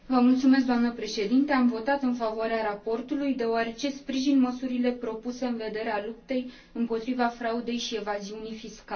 Am votat în favoarea raportului, deoarece sprijin măsurile propuse în vederea luptei împotriva fraudei și evaziunii fiscale.